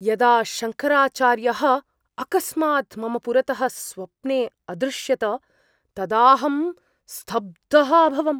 यदा शङ्कराचार्यः अकस्मात् मम पुरतः स्वप्ने अदृश्यत तदाहं स्तब्धः अभवम्।